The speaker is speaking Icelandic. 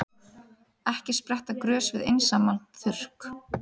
Ekki spretta grös við einsamlan þurrk.